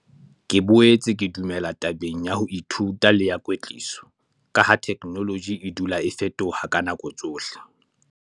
Ke boetse ke dumela tabeng ya ho ithuta le ya kwetliso, ka ha theknoloji e dula e fetoha ka nako tsohle.